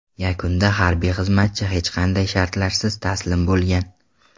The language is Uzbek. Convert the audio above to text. Yakunda harbiy xizmatchi hech qanday shartlarsiz taslim bo‘lgan.